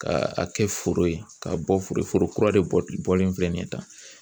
Ka a kɛ foro ye ka bɔ foro foro kura de bɔlen filɛ nin ye tan.